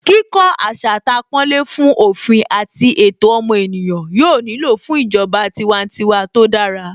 Kíkó asatàpọ́nlé fún òfin àti ẹ̀tọ́ ọmọ ènìyàn yóò nílò fún ìjọba tiwantiwa tó dára